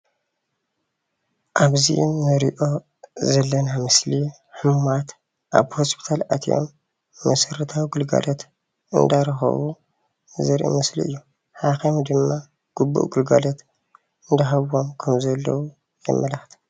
ኣብዚ እንሪኦ ዘለና ምስሊ ሕሙማት ኣብ ሆስፒታል ኣትዮም መሠረታዊ ግልጋሎት እንዳረኸቡ ዘርኢ ምስሊ እዩ። ሓኻይም ድማ ግቡእ ግልጋሎት እንዳሃብዎም ከምዘለው የመላኽት።